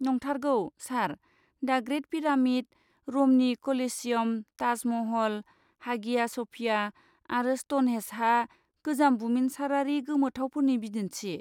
नंथारगौ, सार! दा ग्रेट पिरामिड, रमनि Colosseum, Taj Mahal, Hagia Sophia आरो स्ट'नहेन्जआ गोजाम बुमिनसारारि गोमोथावफोरनि बिदिन्थि।